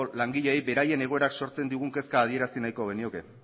langileei beraien egoerak sortzen digun kezka adierazi nahiko genioke